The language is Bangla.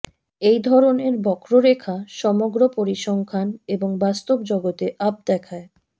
এই ধরনের বক্ররেখা সমগ্র পরিসংখ্যান এবং বাস্তব জগতে আপ দেখায়